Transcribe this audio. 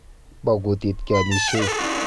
Bo kutit keamishei.